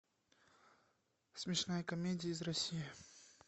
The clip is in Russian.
смешная комедия из россии